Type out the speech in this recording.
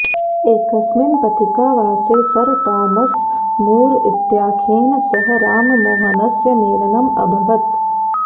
एकस्मिन् पथिकावासे sir Thomas More इत्याख्येन सह राममोहनस्य मेलनम् अभवत्